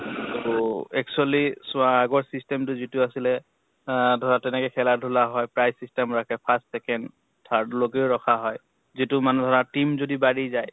ত actually চোৱা আগৰ system টো যিটো আছেলে আহ ধৰা তেনেকে খেলা ধুলা হয়, prize system ৰাখে, first, second, third লৈকে ৰখা হয়। যিটো মান ধৰা team যদি বাঢ়ি যায়